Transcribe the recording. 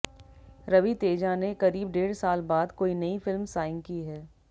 रवि तेजा ने करीब डेढ़ साल बाद कोई नई फिल्म साइन की है